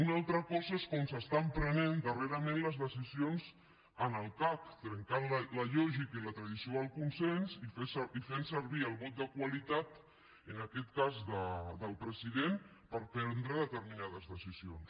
una altra cosa és com s’estan prenent darrerament les decisions en el cac trencant la lògica i la tradició del consens i fent servir el vot de qualitat en aquest cas del president per prendre determinades decisions